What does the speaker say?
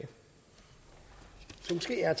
er